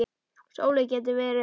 Sóley getur verið